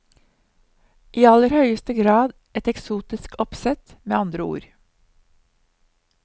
I aller høyeste grad et eksotisk oppsett, med andre ord.